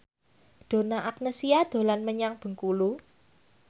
Donna Agnesia dolan menyang Bengkulu